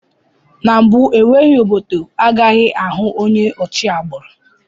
N'mbu enweghị obodo agaghị ahụ onye ochi agbụrụ